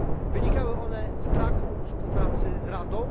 Wynikały one z braku współpracy z Radą.